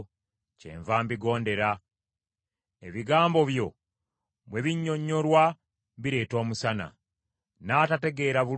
Ebigambo byo bwe binnyonnyolwa bireeta omusana; n’atategeera bulungi bimugeziwaza.